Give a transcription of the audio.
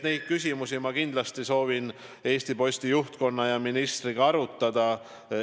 Neid küsimusi ma kindlasti soovin Eesti Posti juhtkonna ja ministriga arutada.